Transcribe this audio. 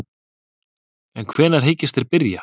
En hvenær hyggjast þeir byrja?